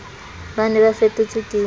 ba ne ba fetotswe ke